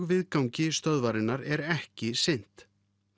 viðgangi stöðvarinnar er ekki sinnt